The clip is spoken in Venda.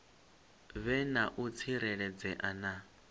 vhe na u tsireledzea na